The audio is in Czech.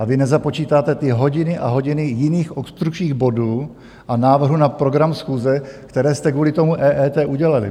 A vy nezapočítáte ty hodiny a hodiny jiných obstrukčních bodů a návrhů na program schůze, které jste kvůli tomu EET udělali.